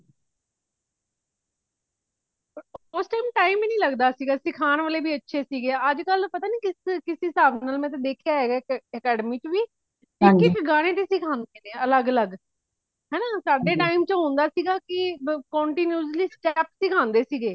ਉਸ time , time ਹੀ ਨਹੀਂ ਲੱਗਦਾ ਸੀ ਸਿੱਖਾਂਨ ਵਾਲੇ ਵੀ ਅੱਛੇ ਸੀ, ਅੱਜ ਕੱਲ ਪਤਾ ਨਹੀਂ ਕਿਸ ਹਿਸਾਬ ਨਾਲ ਮੈ ਤੇ ਦੇਖਿਆ ਹੇਗਾ academy ਵਿਚ ਵੀ। ਇਕ ਇਕ ਗਾਨੇ ਤੇ ਸਿਖਾਂਦੇ ਨੇ ਅਲੱਗ ਅਲੱਗ ਹੋਣਾ ਸਾਡੇ time ਚ ਹੋਂਦ ਸੀਗਾ ਕੀ ਬ continuously step ਸਿਖਾਂਦੇ ਸੀਗੇ।